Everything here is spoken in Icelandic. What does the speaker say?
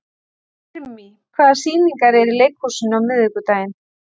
Irmý, hvaða sýningar eru í leikhúsinu á miðvikudaginn?